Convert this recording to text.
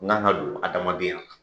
N kan ka dion adamaden na.